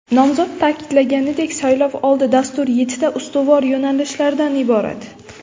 Nomzod ta’kidlaganidek, saylovoldi Dastur yettita ustuvor yo‘nalishlardan iborat.